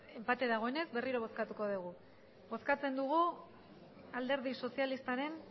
enpate dagoenez berriro bozkatuko dugu bozkatzen dugu alderdi sozialistaren